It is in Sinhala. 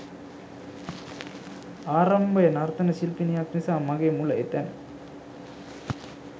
ආරම්භය නර්තන ශිල්පිණියක් නිසා මගේ මුල එතැන.